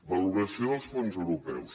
valoració dels fons europeus